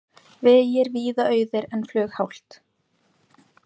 Vegir víða auðir en flughált